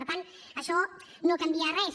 per tant això no canvia res